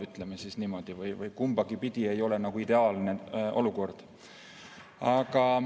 Ütleme niimoodi, et kumbagi pidi ei ole ideaalne olukord.